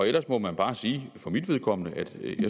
ellers må jeg bare sige for mit vedkommende at